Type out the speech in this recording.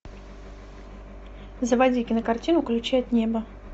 заводи кинокартину ключи от неба